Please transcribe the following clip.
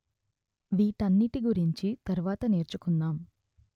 వీటన్నిటి గురించి తరువాత నేర్చుకుందాం